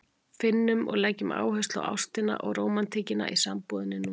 Finnum og leggjum áherslu á ástina og rómantíkina í sambúðinni núna!